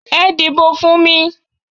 Ẹ dìbò fún mi!